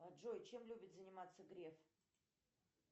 джой чем любит заниматься греф